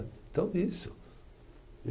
Então, isso.